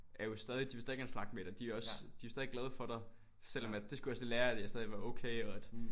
Er jo stadig de vil stadig gerne snakke med dig de er også de er jo stadig glade for dig selvom at det skulle jeg også lige lære at jeg stadig var okay og at